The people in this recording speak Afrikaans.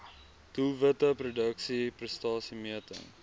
doelwitte produksie prestasiemeting